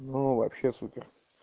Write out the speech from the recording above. ну вообще супер